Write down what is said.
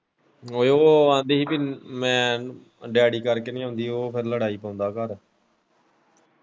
ਉਹ ਕਹਿੰਦੀ ਹੀ ਕਿ ਮੈਂ ਡੈਡੀ ਕਰਕੇ ਨਹੀਂ ਆਉਂਦੀ ਉਹ ਫਿਰ ਲੜਾਈ ਪਾਉਂਦਾ ਘਰ ।